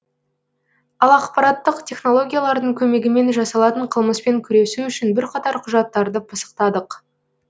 ал ақпараттық технологиялардың көмегімен жасалатын қылмыспен күресу үшін бірқатар құжаттарды пысықтадық